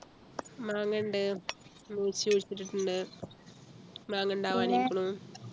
മാങ്ങയുണ്ട് കുഴിച്ചിട്ടിട്ടുണ്ട് മാങ്ങാ ഉണ്ടാവാനിരിക്കുണു